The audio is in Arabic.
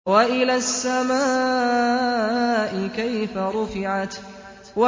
وَإِلَى السَّمَاءِ كَيْفَ رُفِعَتْ